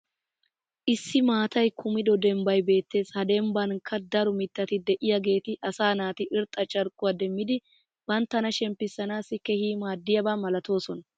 Issi maatay kummido dembbay beettees. Ha dembbankka daro mitatti diyaageeti asaa naati irxxa carkkuwaa demmidi banttana shemppissanaassi keehi maadiyaaba malatoosona.